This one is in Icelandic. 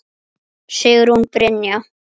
Sigrún Brynja